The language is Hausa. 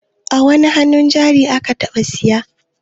Wani hannun jari ka taɓa siya?